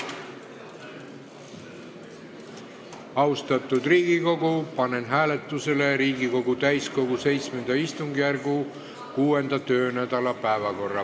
Austatud Riigikogu, panen hääletusele Riigikogu täiskogu VII istungjärgu 6. töönädala päevakorra.